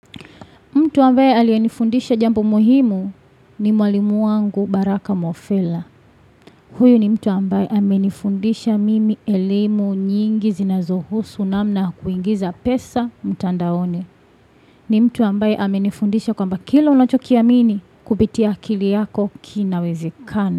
Mtu ambaye aliyenifundisha jambo muhimu ni mwalimu wangu baraka Mofela. Huyu ni mtu ambaye amenifundisha mimi elimu nyingi zinazohusu namna ya kuingiza pesa mtandaoni. Ni mtu ambaye amenifundisha kwamba kila unachokiamini kupitia akili yako kinawezekana.